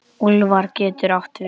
Úlfar getur átt við